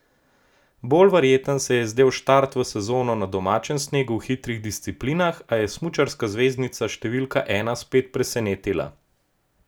Bolj verjeten se je zdel štart v sezono na domačem snegu v hitrih disciplinah, a je smučarska zvezdnica številka ena spet presenetila.